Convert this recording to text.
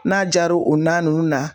N'a jar'o o na nunnu na